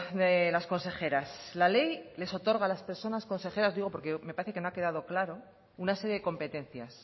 de las consejeras la ley les otorga a las personas consejeras digo porque me parece que no ha quedado claro una serie de competencias